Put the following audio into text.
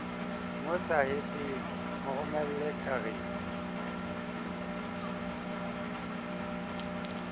mo hlahetseng mo romelle karete